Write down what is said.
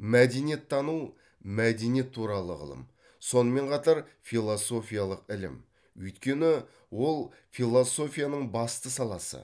мәдениеттану мәдениет туралы ғылым сонымен қатар философиялық ілім өйткені ол философияның басты саласы